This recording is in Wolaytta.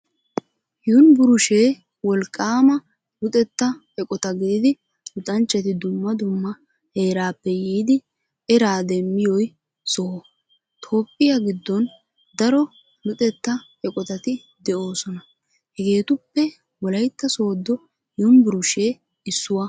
Yunburshee wolqqaama luxetta eqota gididi luxanchchati dumma dumma heeraappe yiiddi eraa demmiyoy soho. Toophphiyaa giddon daro luxetta eqotati de'oosona hegeetuppe wolaytta sooddo yunvurshee issuwaa.